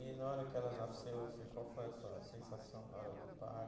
E na hora que ela nasceu assim, qual foi a sua sensação na hora do parto?